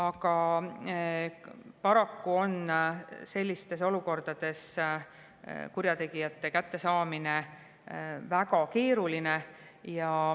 Aga paraku on sellistes olukordades kurjategijate kättesaamine väga keeruline.